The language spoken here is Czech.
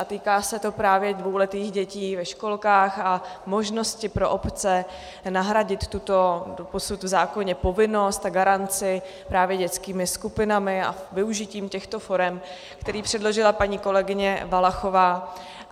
A týká se to právě dvouletých dětí ve školkách a možnosti pro obce nahradit tuto doposud v zákoně povinnost a garanci právě dětskými skupinami a využitím těchto forem, které předložila paní kolegyně Valachová.